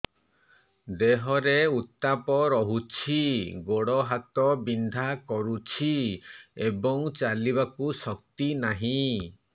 ଦେହରେ ଉତାପ ରହୁଛି ଗୋଡ଼ ହାତ ବିନ୍ଧା କରୁଛି ଏବଂ ଚାଲିବାକୁ ଶକ୍ତି ନାହିଁ